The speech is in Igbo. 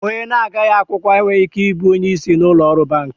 Onye na-agaghi akwụkwọ enweghị ike ị bụ onye isi n'ụlọ ọrụ banki.